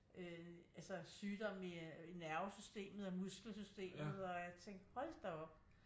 Altså sygdomme i øh nervesystemet og muskelsystemet og jeg tænkte hold da op